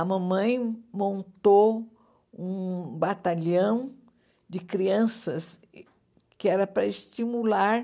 A mamãe montou um batalhão de crianças que era para estimular